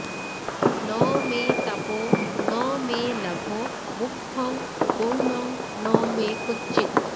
ন মে তাপো ন মে লাভো মুখ্যং গৌণং ন মে ক্বচিত্